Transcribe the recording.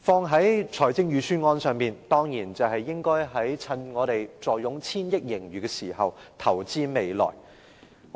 套用在預算案上，當然是應該在我們坐擁千億元盈餘時投資未來。